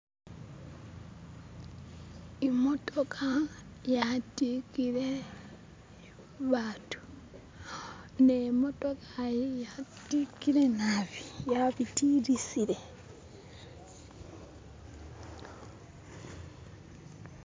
Imotoka yatikile batu, ne motoka yiyi yatikile naabi yabitilisile.